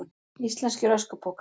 Íslenskir öskupokar.